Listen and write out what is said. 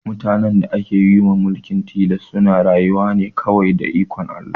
Mutanen da ake wa mulkin tilas suna rayuwa ne kawai da ikon Allah